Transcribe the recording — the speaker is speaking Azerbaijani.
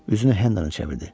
Üzünü Hendona çevirdi.